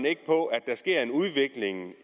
der sker en udvikling